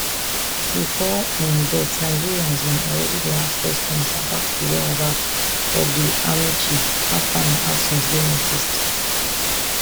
bifor im death nigerians bin already dey ask questions about di whereabouts of di army chief afta im absence dey noticed